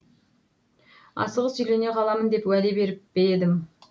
асығыс үйлене қаламын деп уәде беріп пе едім